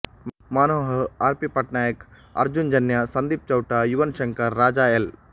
Manohar R P Patnaik Arjun Janya Sandeep ಚೌಟಯುವನ್ ಶಂಕರ್ ರಾಜಎಲ್